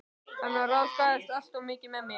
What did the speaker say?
Hann ráðskaðist alltof mikið með mig.